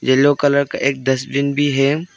Yellow colour का एक dustbin है।